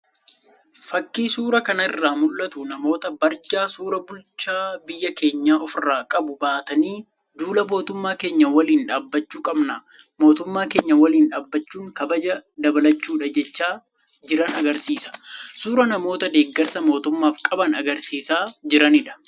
Fakiin suuraa kana irraa mul'atu, namoota barjaa suuraa bulchaa biyya keenyaa ofirraa qabu baatanii, duula mootummaa keenya waliin dhaabachuu qabna, mootummaa keenya waliin dhaabachuun kabaja dabalachuudha jechaa jiran agarsiisa. Suuraa namoota deeggarsa mootummaaf qaban agarsiisaa jiraniidha.